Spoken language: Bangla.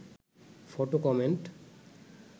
photo comment